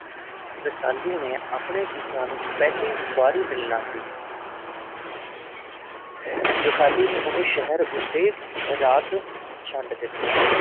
ਰਸਾਲੂ ਨੇ ਆਪਣੇ ਪਿਤਾ ਨੂੰ ਪਹਿਲੀ ਵਾਰੀ ਮਿਲਨਾ ਸੀ ਰਸਾਲੂ ਨੇ ਉਹ ਸ਼ਹਿਰ ਉਤੇ ਰਾਤ ਛੱਡ ਦਿੱਤਾ।